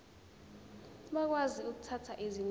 bakwazi ukuthatha izinqumo